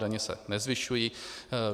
Daně se nezvyšují.